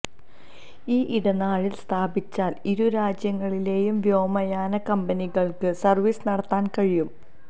ഈ ഇടനാഴി സ്ഥാപിച്ചാല് ഇരുരാജ്യങ്ങളിലേയും വ്യോമയാന കമ്പനികള്ക്ക് സര്വീസ് നടത്താന് കഴിയും